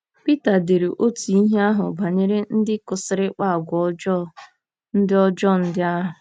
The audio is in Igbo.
Pita dere otú ihe ahụ banyere ndị kwụsịrị ịkpa àgwà ọjọọ ndị ọjọọ ndị ahụ.